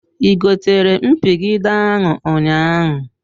I gotere mpigide ahụ ụnyaahụ?